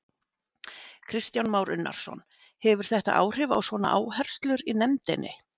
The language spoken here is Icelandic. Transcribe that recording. Kristján Már Unnarsson: Hefur þetta áhrif á svona áherslur í nefndinni?